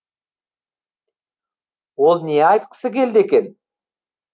ол не айтқысы келді екен